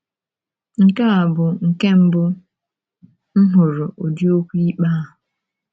Nke a bụ nke mbụ m hụrụ ụdị okwu ikpe a.